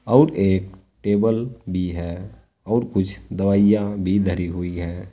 और एक टेबल भी है और कुछ दवाइयां भी धरी हुई हैं।